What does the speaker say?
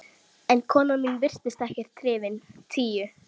En konan mín virtist ekkert hrifin: Tíu.